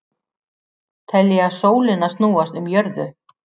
Telja sólina snúast um jörðu